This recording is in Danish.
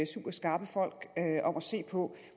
superskarpe folk om at se på